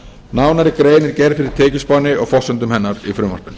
nánari grein er gerð fyrir tekjuspánni og forsendum hennar í frumvarpinu